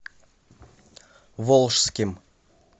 волжским